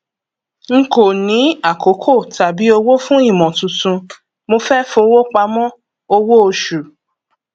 n kò ní àkókò tàbí owó fún ìmọ tuntun mo fẹ fowópamọ owó oṣù